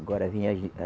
Agora vinha a